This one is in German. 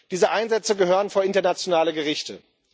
Diese Einsätze gehören vor internationale Gerichte.